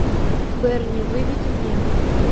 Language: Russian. берни выведи мне